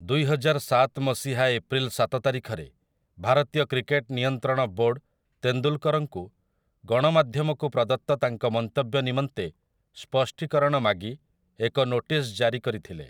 ଦୁଇହଜାରସାତ ମସିହା ଏପ୍ରିଲ୍ ସାତ ତାରିଖରେ, ଭାରତୀୟ କ୍ରିକେଟ୍ ନିୟନ୍ତ୍ରଣ ବୋର୍ଡ଼୍ ତେନ୍ଦୁଲ୍‌କର୍‌‌ଙ୍କୁ, ଗଣମାଧ୍ୟମକୁ ପ୍ରଦତ୍ତ ତାଙ୍କ ମନ୍ତବ୍ୟ ନିମନ୍ତେ ସ୍ପଷ୍ଟୀକରଣ ମାଗି, ଏକ ନୋଟିସ୍ ଜାରି କରିଥିଲେ ।